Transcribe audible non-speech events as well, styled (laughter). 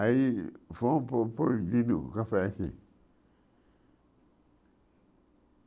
Aí (unintelligible) pro proibido o café aqui.